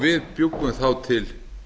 við bjuggum þá til